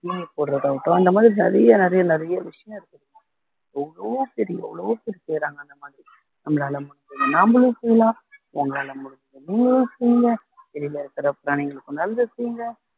தீனி போடுறதாகட்டும் அந்த மாதிரி நிறைய நிறைய நிறைய விஷயம் இருக்கு எவ்வளவோ பேர் எவ்வளவோ பேர் செய்யுறாங்க அந்த மாதிரி நம்மளால முடிஞ்சது நாமளும் செய்யலாம் உங்களால முடிஞ்ச நீங்களும் செய்ங்க வெளில இருக்க பிராணிகளுக்கும் நல்லது செய்யுங்க